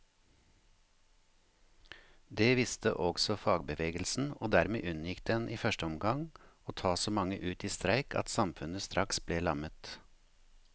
Det visste også fagbevegelsen, og dermed unngikk den i første omgang å ta så mange ut i streik at samfunnet straks ble lammet.